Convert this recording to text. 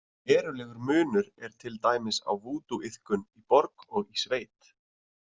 Verulegur munur er til dæmis á vúdúiðkun í borg og í sveit.